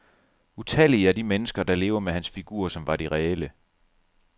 Utallige er de mennesker, der lever med hans figurer, som var de reelle.